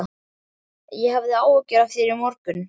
Ég hafði áhyggjur af þér í morgun.